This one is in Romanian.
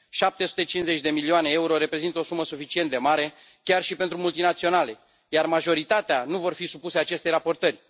750 de milioane euro reprezintă o sumă suficient de mare chiar și pentru multinaționale, iar majoritatea nu vor fi supuse acestei raportări.